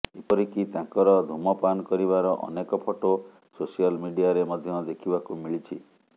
ଏପରିକି ତାଙ୍କର ଧୂମପାନ କରିବାର ଅନେକ ଫଟୋ ସୋସିଆଲ୍ ମିଡ଼ିଆରେ ମଧ୍ୟ ଦେଖିବାକୁ ମିଳିଛି